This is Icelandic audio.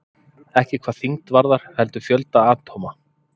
Ekki hvað þyngd varðar heldur fjölda atóma?